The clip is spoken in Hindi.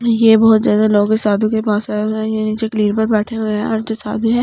ये बहुत ज्यादा लोगो के साधू के पास आये हुए हैं ये यहाँ नीचे क्लीन पर बैठे हुए है और जो साधु है।